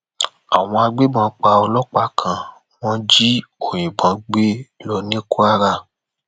àwọn agbébọn pa ọlọpàá kan wọn jí òyìnbó gbé lọ ní kwara